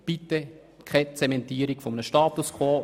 Bitte keine Zementierung eines Status quo.